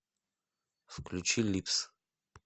включи липс